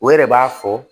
O yɛrɛ b'a fɔ